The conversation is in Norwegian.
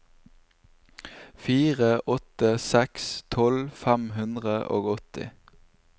fire åtte seks seks tolv fem hundre og åtti